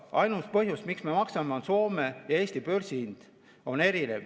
Ainus põhjus, miks me maksame, on see, et Soome ja Eesti börsihind on erinev.